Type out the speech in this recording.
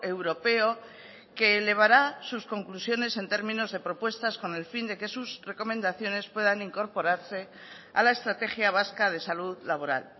europeo que elevará sus conclusiones en términos de propuestas con el fin de que sus recomendaciones puedan incorporarse a la estrategia vasca de salud laboral